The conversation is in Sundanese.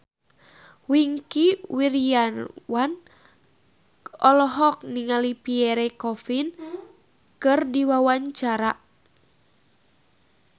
Wingky Wiryawan olohok ningali Pierre Coffin keur diwawancara